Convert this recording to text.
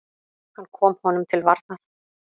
Hann kom honum til varnar.